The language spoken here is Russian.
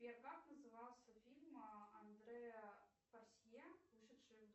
сбер как назывался фильм андрэа порсье вышедший